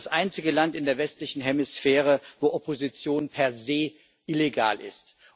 Das Land ist das einzige Land in der westlichen Hemisphäre, wo Opposition per se illegal ist.